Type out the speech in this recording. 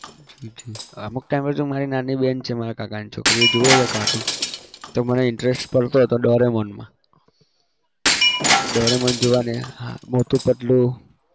ઠીક ઠીક અમુક time એ તો મારી નાની બેન છે મારા કાકાની છોકરી એ જોવે છે cartoon તો મને interest પડતો હતો doraemon માં doraemon જોવાની હા મોટું પતલુ